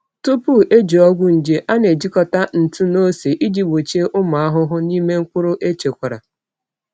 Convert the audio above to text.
Tupu eji ọgwụ nje, a na-ejikọta ntụ na ose iji gbochie ụmụ ahụhụ n’ime mkpụrụ echekwara.